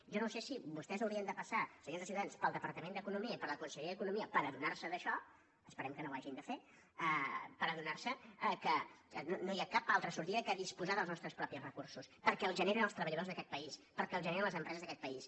jo no sé si vostès haurien de passar senyors de ciutadans pel departa·ment d’economia i per la conselleria d’economia per adonar·se d’això esperem que no ho hagin de fer per adonar·se que no hi ha cap altra sortida que dis·posar dels nostres propis recursos perquè els generen els treballadors d’aquest país perquè els generen les empreses d’aquest país